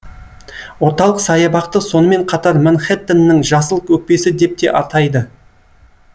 орталық саябақты сонымен қатар манхэттеннің жасыл өкпесі деп те атайды